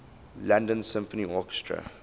london symphony orchestra